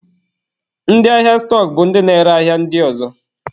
Ndị ahịa stọk bụ ndị na-ere ahịa ndị ọzọ.